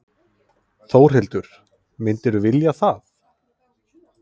Þórhildur: Myndirðu vilja það?